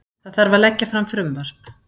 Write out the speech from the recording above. Það þarf að leggja fram frumvarp